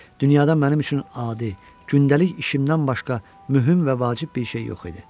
Dünyada mənim üçün adi, gündəlik işimdən başqa mühüm və vacib bir şey yox idi.